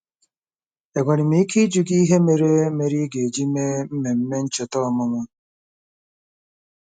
Enwere m ike ịjụ gị ihe mere mere ị ga-eji mee mmemme ncheta ọmụmụ?